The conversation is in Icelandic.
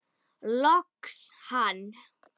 Loks hann!